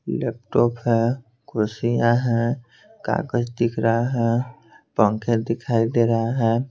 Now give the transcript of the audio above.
Laptop है कुर्षियां हैं कागज दिख रहा है पंखे दिखाई दे रहा है।